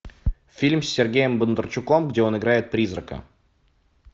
фильм с сергеем бондарчуком где он играет призрака